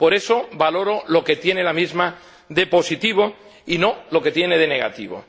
Por eso valoro lo que tiene la misma de positivo y no lo que tiene de negativo.